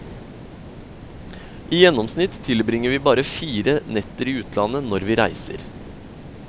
I gjennomsnitt tilbringer vi bare fire netter i utlandet når vi reiser.